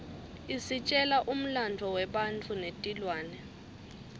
isitjela umlandvo webantfu netilwane